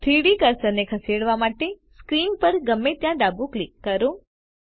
3ડી કર્સરને ખસેડવા માટે સ્ક્રીન પર ગમે ત્યાં ડાબું ક્લિક કરો